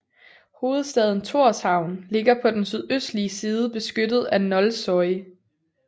Hovedstaden Tórshavn ligger på den sydøstlige side beskyttet af Nolsoy